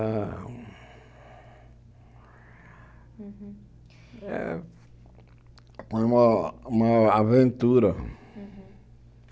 Foi uma uma aventura.